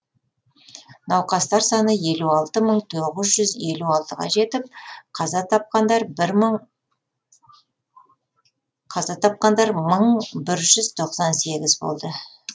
науқастар саны елу алты мың тоғыз жүз елу алтыға жетіп қаза тапқандар мың бір жүз тоқсан сегіз болды